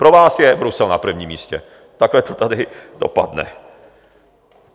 Pro vás je Brusel na prvním místě, takhle to tady dopadne.